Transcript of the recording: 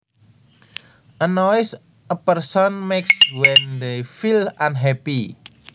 A noise a person makes when they feel unhappy